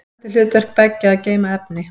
Almennt er hlutverk beggja að geyma efni.